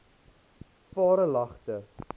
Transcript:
varelagte